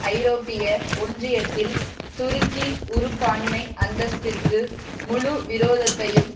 ஐரோப்பிய ஒன்றியத்தில் துருக்கி உறுப்பான்மை அந்தஸ்திற்கு முழு விரோதத்தையும்